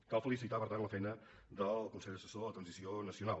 cal felicitar per tant la feina del consell assessor per a la transició nacional